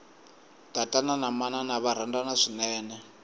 tatana na manana va rhandzana swinene